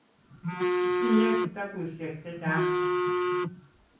Itinye kitabushek chechang